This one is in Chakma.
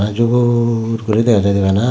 jubur guri dega jaide bana.